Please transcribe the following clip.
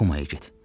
Kumaya get.